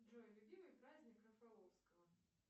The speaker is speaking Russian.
джой любимый праздник рафаловского